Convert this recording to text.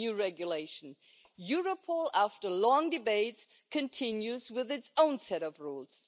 It was really a pleasure to work with you and I think the results speak for themselves.